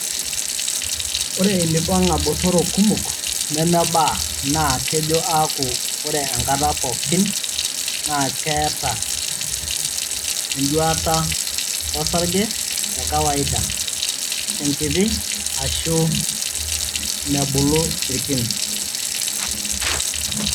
Ore ilipong'a botorok kumok nemebaa naa kejo aaku ore enkata pookin naa keeta eduata osarge te kawaida, enkiti aashu mebulu irkin.